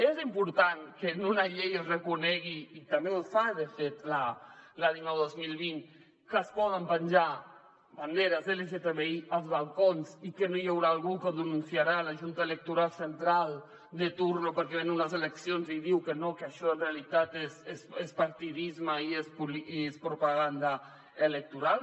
és important que en una llei es reconegui i també ho fa de fet la dinou dos mil vint que es poden penjar banderes lgtbi als balcons i que no hi haurà algú que ho denunciarà a la junta electoral central de torn perquè hi han unes eleccions i diu que no que això en realitat és partidisme i és propaganda electoral